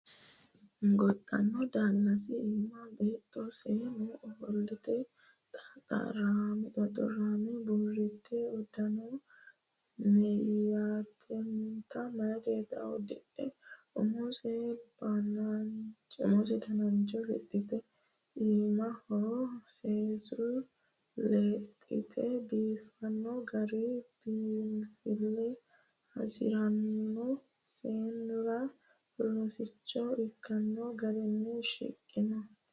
Gonxanni daalasi iima beetto seemmo ofolte xoxorame burite udano meeyatenitta udidhe umise danancho fixite iimaho seesure lexite biifino gara biinfile hasirano seennira rosicho ikkano garinni shiqqino.